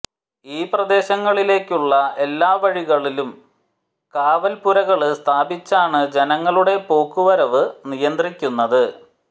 ഈ പ്രദേശങ്ങളിലേക്കുള്ള എല്ലാ വഴികളിലും കാവല്പ്പുരകള് സ്ഥാപിച്ചാണ് ജനങ്ങളുടെ പോക്ക് വരവ് നിയന്ത്രിക്കുന്നത്